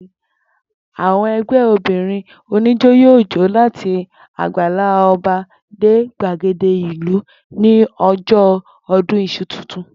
Àwo̩n e̩gbé̩ obìnrin oníjó yóò jó láti àgbàlá o̩ba dé gbàgede ìlú ní o̩jó̩ o̩dún is̩u titun